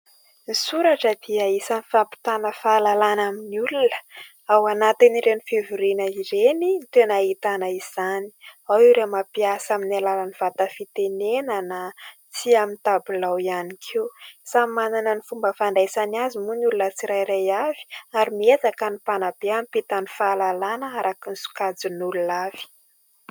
Ny soratra dia isany fampitana fahalalana amin'ny olona, ao anatin'ireny fivoriana ireny no tena ahitana izany, ao ireo mampiasa amin'ny alalan'ny vata fitenena na amin'ny tabilao ihany koa ; samy manana ny fomba fandraisany azy moa ny olona tsirairay avy ary miezaka ny mpanabe hampita ny fahalalana araka ny sokajin'olona avy.